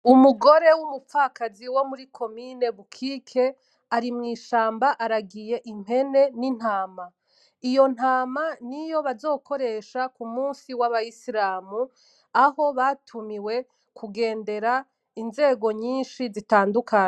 Umugore wumupfakazi womuri komune bukike ari mwishamba aragiye impene n'intama, iyo ntama niyo bazokoresha kumusi waba isilamu aho batumiwe kugendera inzego nyinshi zitandukanye.